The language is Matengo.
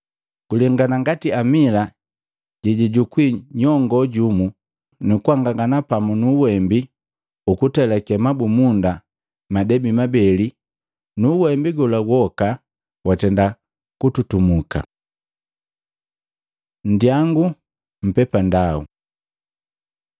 Guwanangini ngati amila jejajukwi nyongo jumu nukuangangana pamu nu uwembi ukutelake mabumunda madebi mabeli nu uwembi gola woka watenda kututumuka.” Nndiyangu mpepandau Matei 7:13-14, 21-23